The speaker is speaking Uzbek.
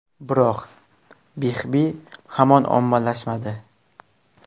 Biroq Bixby hamon ommalashmadi.